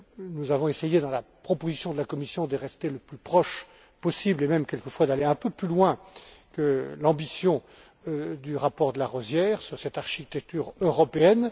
Nous avons essayé, dans la proposition de la Commission, de rester le plus près possible et même quelquefois d'aller un peu plus loin que l'ambition du rapport de Larosière sur cette architecture européenne.